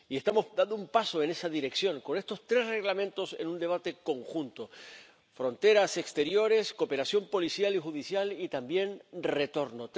Y estamos dando un paso en esa dirección con estos tres Reglamentos en un debate conjunto fronteras exteriores, cooperación policial y judicial, y también retorno.